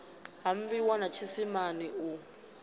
ha bwiwa na tshisima u